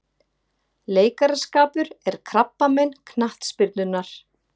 Leikaraskapur er krabbamein knattspyrnunnar